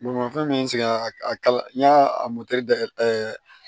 Bolimafɛn min sigila a kala n'i y'a da